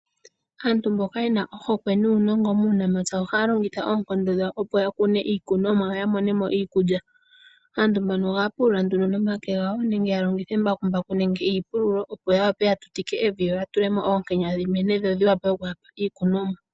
Aantu mboka yena ohokwe nuunongo muunamapya ohaya longitha oonkondo dhawo opo yakune iikunomwa yo yamonemo iikulya. Aantu mbano ohaya pulula nduno nomake gawo nenge yalongithe embakumbaku nenge iipululo opo yawape yatutike evi yo yatulemo oonkenya dhimene dhodhiwape okuyapa iikunomwa.